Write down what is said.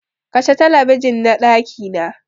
Kashe Talabijin na ɗakina!